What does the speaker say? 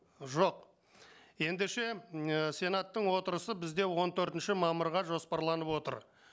жоқ ендеше м ііі сенаттың отырысы бізде он төртінші мамырға жоспарланып отыр